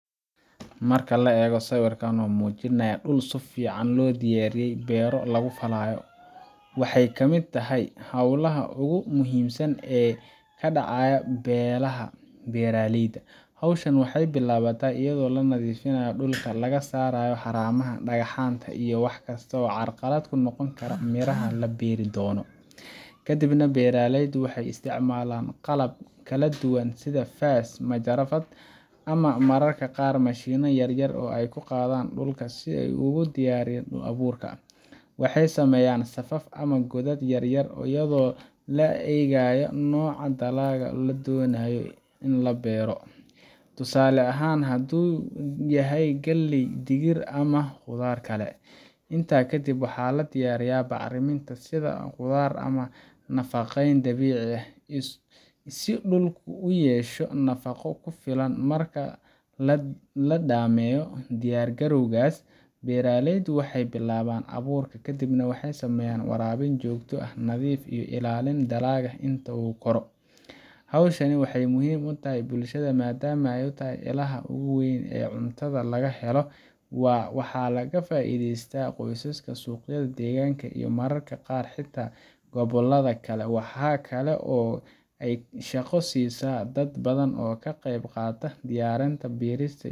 marki laa ego siwirkan oo mujinayah dul sifican lodiyariye bero lagu falayo, waxa ay kamid tahahy holaha ogu muhimsan ee kadacaya belaha beraleyda, howshan waxay bilabata ayadoo lanadifinayo dulka lagasarayo xaramaha dagacanta iyo wax kistawa oo carqalad kunoqoni kara miraha laberi dono kadib nah, beraleydu waxay istacmalan qalab kaladuwan sidhaa fas, majarafad amah mararka qar mashino yaryar aay kuqadhan dulka sii ay ogudiyariyan dul aburka waxay sameyan safaf amah godad yaryar iyado laa egayo noca dalaga ladonayo ini labero, tusale ahan hadu yahay galey, digir ama qudar kale inta kadib waxa ladiyariyah bac riminta sidha qudar amah nafaqeyn dabici ah, si dulka uu uyesho nafaqo kufilan marka ladameyo diyar galowgas beraleyda waxay bilawan aburka kadibnah waxay sameyan warabin jogto ah nadifiyoh ilalin dalaga intu koro, howshani waxay muhim utahay bulshada madam aay utahay ilaha ogu weyn ee cuntadha lagahelo waa waxa laga faideysta qosaska suqyada deganka iyo mararka qar xita gobolada kale waxa kale aay shaqo sisa balan oo kaqebqata diyarinta dulista.